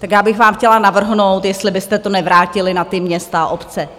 Tak já bych vám chtěla navrhnout, jestli byste to nevrátili na ta města a obce.